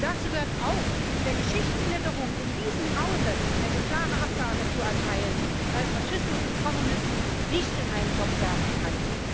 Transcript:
Dazu gehört auch, der Geschichtsklitterung in diesem Hause eine klare Absage zu erteilen, weil man Faschismus und Kommunismus nicht in einen Topf werfen kann.